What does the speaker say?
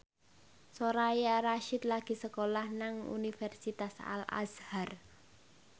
Soraya Rasyid lagi sekolah nang Universitas Al Azhar